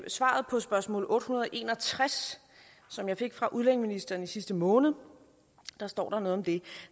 svaret på spørgsmål otte hundrede og en og tres som jeg fik fra udlændingeministeren i sidste måned står der noget om det